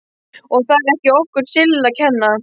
Og það er ekki okkur Sillu að kenna.